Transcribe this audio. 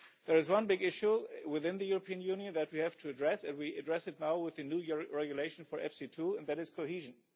There is one big issue within the European Union that we have to address and we will address it now with the New York Regulation for EFSI II, and that is cohesion.